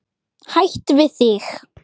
Hætt við þig.